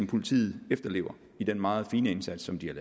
politiet efterlever i den meget fine indsats som de har